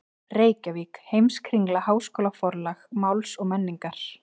Reykjavík: Heimskringla- Háskólaforlag Máls og menningar.